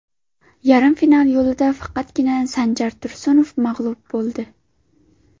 Yarim final yo‘lida faqatgina Sanjar Tursunov mag‘lub bo‘ldi.